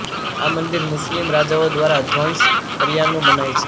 આ મંદિર મુસ્લિમ રાજાઓ દ્વારા દ્વંસ કર્યાનું મનાય છે